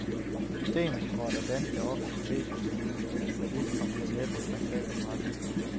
Systemeksport af danske, offentlige edb-systemer har spillet fallit og bliver næppe en rentabel forretning.